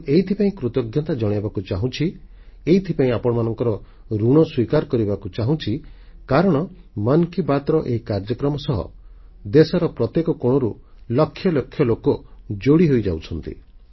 ମୁଁ ଏଥିପାଇଁ କୃତଜ୍ଞତା ଜଣାଇବାକୁ ଚାହୁଁଛି ଏଥିପାଇଁ ଆପଣମାନଙ୍କ ଋଣ ସ୍ୱୀକାର କରିବାକୁ ଚାହୁଁଛି କାରଣ ମନ୍ କି ବାତ୍ର ଏହି କାର୍ଯ୍ୟକ୍ରମ ସହ ଦେଶର ପ୍ରତ୍ୟେକ କୋଣରୁ ଲକ୍ଷ ଲକ୍ଷ ଲୋକ ଯୋଡ଼ି ହୋଇଯାଉଛନ୍ତି